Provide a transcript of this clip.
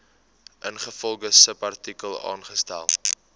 ingevolge subartikel aangestel